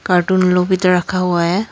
Cartoon लोग भी तो रखा हुआ है।